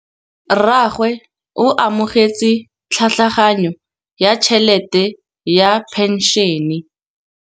Rragwe o amogetse tlhatlhaganyô ya tšhelête ya phenšene.